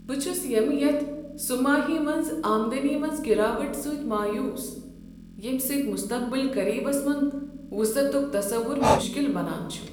بہٕ چھس ییٚمہِ یتھ سہ ماہی منٛز آمدنی منٛز گراوٹ سۭتۍ مایوٗس، ییٚمہ سۭتۍ مستقبل قریبس منز وسعتک تصوُر مُشکِل بنان چھُ۔